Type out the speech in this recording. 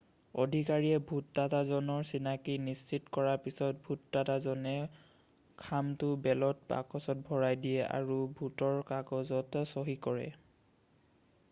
আধিকাৰীয়ে ভোটদাতাজনৰ চিনাকি নিশ্চিত কৰাৰ পিছত ভোটদাতাজনে খামতো বেলত বাকচত ভৰাই দিয়ে আৰু ভোটৰ কাগজত চহী কৰে